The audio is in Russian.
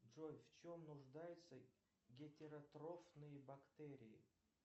джой в чем нуждаются гетеротрофные бактерии